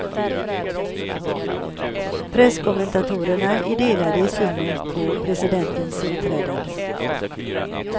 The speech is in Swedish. Presskommentatorerna är delade i synen på presidentens uppträdande.